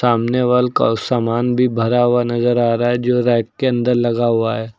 सामने वल का सामान भी भरा हुआ नजर आ रहा है जो रैक के अंदर लगा हुआ है।